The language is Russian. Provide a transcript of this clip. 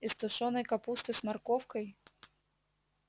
из тушёной капусты с морковкой